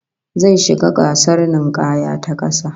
Zai shiga gasar ninkaya ta kasa